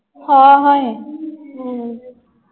ਹਾ, ਹਾਏ।